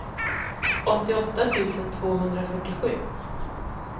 åttioåtta tusen tvåhundrafyrtiosju